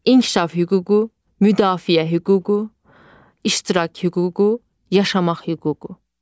İnkişaf hüququ, müdafiə hüququ, iştirak hüququ, yaşamaq hüququ.